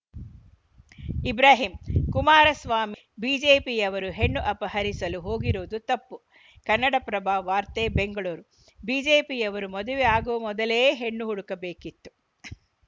ಇಬ್ರಾಹಿಂ ಕುಮಾರಸ್ವಾಮಿ ಕಟ್ಟಿದ ಮೇಲೆ ಬಿಜೆಪಿಯವರು ಹೆಣ್ಣು ಅಪಹರಿಸಲು ಹೋಗಿರುವುದು ತಪ್ಪು ಕನ್ನಡಪ್ರಭ ವಾರ್ತೆ ಬೆಂಗಳೂರು ಬಿಜೆಪಿಯವರು ಮದುವೆ ಆಗುವ ಮೊದಲೇ ಹೆಣ್ಣು ಹುಡುಕಬೇಕಿತ್ತು